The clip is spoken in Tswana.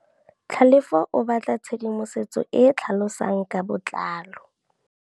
Tlhalefô o batla tshedimosetsô e e tlhalosang ka botlalô.